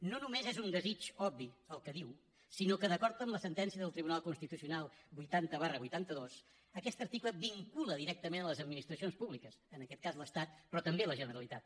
no només és un desig obvi el que diu sinó que d’acord amb la sentència del tribunal constitucional vuitanta vuitanta dos aquest article vincula directament a les administracions públiques en aquest cas l’estat però també la generalitat